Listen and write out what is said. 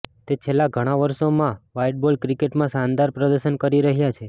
તે છેલ્લા ઘણા વર્ષોમાં વ્હાઈટ બોલ ક્રિકેટમાં શાનદાર પ્રદર્શન કરી રહ્યા છે